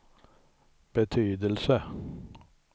betydelse